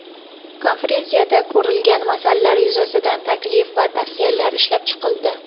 Konferensiyada ko‘rilgan masalalar yuzasidan taklif va tavsiyalar ishlab chiqildi.